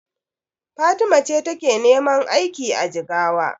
Fatima ce take neman aiki a Jigawa.